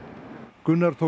Gunnar tók